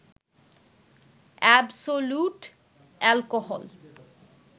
absolute alcohol